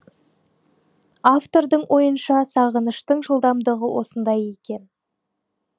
автордың ойынша сағыныштың жылдамдығы осындай екен